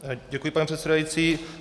Děkuji, pane předsedající.